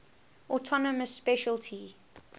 autonomous specialty